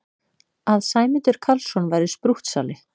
Að Sæmundur Karlsson væri sprúttsali!